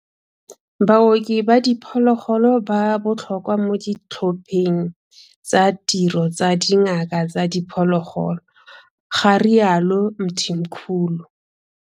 Baoki ba diphologolo ba botlhokwa mo ditlhopheng tsa tiro tsa dingaka tsa diphologolo, ga rialo Mthimkhulu.